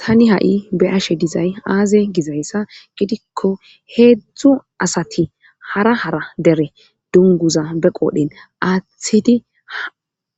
tani ha'i beyashe dizay aaze gizayssa gidikko heedzdzu asati hara hara dere dunguza be qoodhen aththedi